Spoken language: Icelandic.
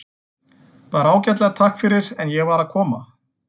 Bara ágætlega, takk fyrir, en ég var bara að koma.